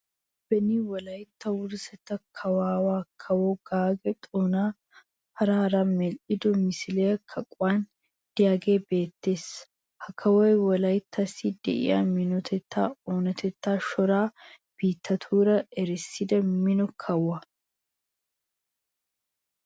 Beni wolaitta wurissetta kawuwa kawo Gaagga Xoona a paraara medhdhido misilee kaquwan de'iyagee beettes. Ha kawoy wolaittassi de'iya minotettaanne oonatetta shooro biittatuura erissida mino kawo.